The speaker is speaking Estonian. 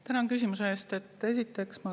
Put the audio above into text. Tänan küsimuse eest!